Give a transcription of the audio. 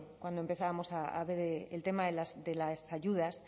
cuando empezábamos a ver el tema de las ayudas